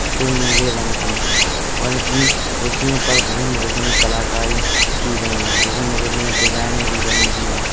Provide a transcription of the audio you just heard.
जो नीले रंग की है और इन कुर्सिओं पर विभिन्न विभिन्न कलाकारी की गई हैं। विभिन्न विभिन्न डिजाइने भी बनी हुई हैं।